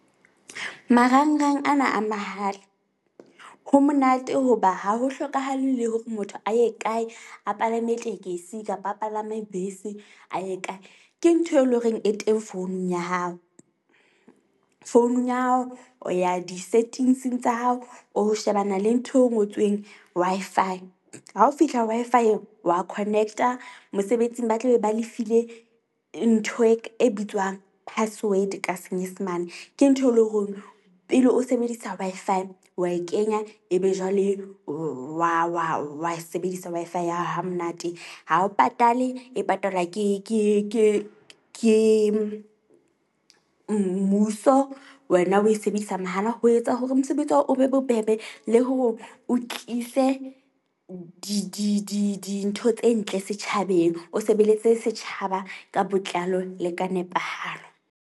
Marang-rang ana a mahala ho monate hoba ha ho hlokahale, le hore motho a ye kae a palame tekesi kapa a palame bese a ye kae. Ke ntho e leng horeng e teng founung ya hao. Founung ya hao o ya di-settings-eng tsa hao, o shebana le ntho eo ngotsweng Wi-Fi. Ha o fihla Wi-Fi-eng wa connect-a mosebetsing, ba tla be ba le file ntho e bitswang password ka senyesemane. Ke ntho eo pele o sebedisa Wi-Fi wa e kenya ebe jwale wa wa wa wa e sebedisa Wi-Fi ya hamonate ha o patale. E patalwa ke ke ke ke mmuso. Wena o e sebedisa mahala ho etsa hore mosebetsi wa hao o be bobebe le hore o tlise di di di dintho tse ntle setjhabeng. O sebeletse setjhaba ka botlalo le ka nepahalo.